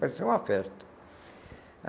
Parecia uma festa.